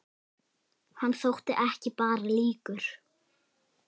Hann þótti ekki bara líkur